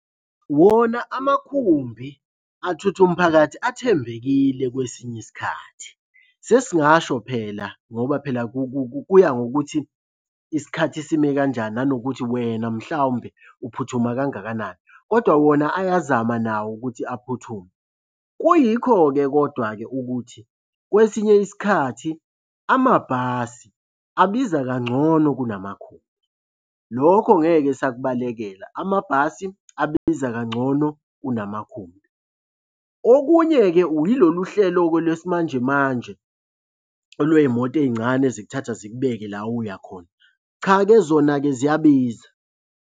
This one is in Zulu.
Wona amakhumbi athutha umphakathi athembekile kwesinye isikhathi. Sesingasho phela ngoba phela kuya ngokuthi isikhathi sime kanjani nanokuthi wena mhlawumbe uphuthuma kangakanani kodwa wona ayazama nawo ukuthi aphuthume. Kuyikho-ke kodwa-ke ukuthi kwesinye isikhathi amabhasi abiza kangcono kunamakhumbi. Lokho ngeke sakubalekela, amabhasi abiza kangcono kunamakhumbi. Okunye-ke ilolu hlelo-ke lwesimanjemanje olwey'moto ey'ncane ezikuthatha zikubeke la uya khona. Cha-ke zona-ke ziyabiza.